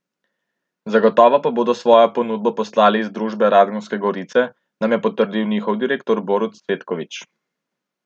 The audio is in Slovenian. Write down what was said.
Zagotovo pa bodo svojo ponudbo poslali iz družbe Radgonske gorice, nam je potrdil njihov direktor Borut Cvetkovič.